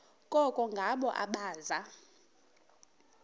koko ngabo abaza